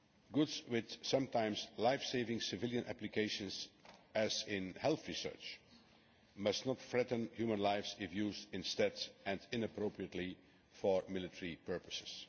Goods with sometimes life saving civilian applications, as in health research, must not threaten human lives if used instead and inappropriately for military purposes.